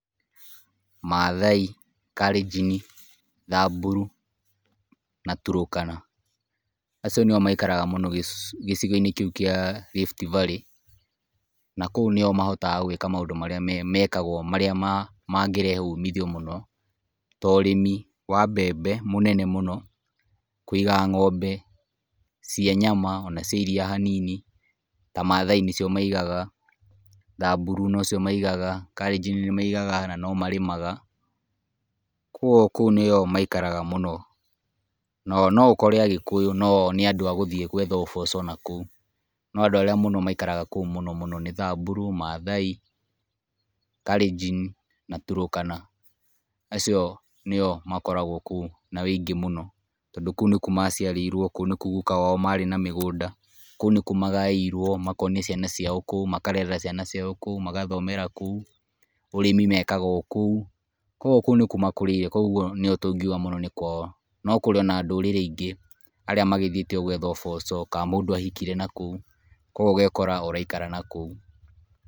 Maathai, karĩnjini, thamburu na tũrũkana, acio nio maikaraga mũno gĩcigo-inĩ kĩũ kia Rift Valley na kũu nĩomahotaga gwĩka maũndũ marĩa mekagwo marĩa ma ng'ĩrehe ũmithio mũno to ũrĩmi wa mbembe mũnene mũno, kũiga ngómbe cia nyama ona cia iria hanini ta maathai nicio maigaga, thamburu nocio maigaga, karĩnjini nĩ maigaga no marĩmaga. Kogũo kũo nĩo maikaraga mũno, no noukore agikuyu no o nĩ andũ agũthiĩ gwetha uboco nakũu. No andũ arĩa maikaraga nakũu mũno mũno nĩ thamburu, maathai, karĩnjini na tũrũkana acio nĩo makoragwo kũu na ũingĩ mũno, tondũ kũu nĩkũo maciarĩirwo kũu nĩkũo guka wao marĩ na migunda, kũu nĩkũo magaĩirwo na makonia ciana ciao kũu, makarerera ciana ciao kũu, magathomera kũu, ũrĩmi mekaga okũu. Kogũo kũu nĩkũo makũrĩire, kogũo nio tũngiũga mũno nĩ kwao no kũrĩ ona ndũrĩrĩ ingĩ arĩa magĩthiĩte gwetha uboco ka mũndũ ahikire nakũu, kogũo ũgekora uraikara nakũu.